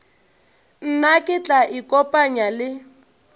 nna ke tla ikopanya le